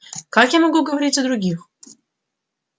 как я могу говорить за других